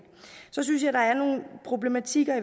synes jeg der er nogle problematikker